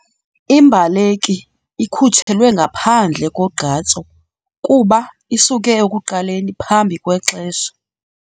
Imbaleki ikhutshelwe ngaphandle kogqatso kuba isuke ekuqaleni phambi kwexesha.